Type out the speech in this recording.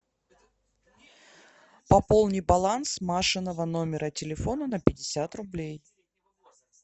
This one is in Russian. пополни баланс машиного номера телефона на пятьдесят рублей